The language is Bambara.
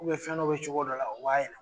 fɛn dɔ be cogo dɔ la ub'a yɛlɛ